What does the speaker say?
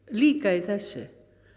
líka í þessu